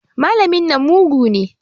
Malamin nan mugu ne.